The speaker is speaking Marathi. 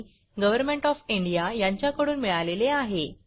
डि गव्हरमेण्ट ऑफ इंडिया कडून मिळालेले आहे